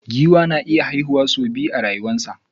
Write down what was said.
Giwa na iya haihuwa su biya a rayuwa sa.